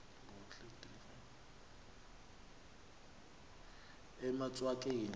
emaswakeni